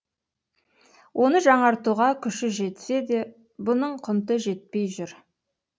оны жаңартуға күші жетсе де бұның құнты жетпей жүр